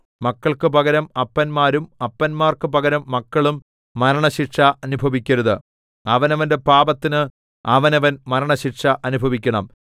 മക്കൾക്കു പകരം അപ്പന്മാരും അപ്പന്മാർക്കു പകരം മക്കളും മരണശിക്ഷ അനുഭവിക്കരുത് അവനവന്റെ പാപത്തിന് അവനവൻ മരണശിക്ഷ അനുഭവിക്കണം